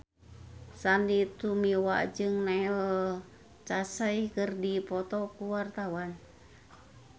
Sandy Tumiwa jeung Neil Casey keur dipoto ku wartawan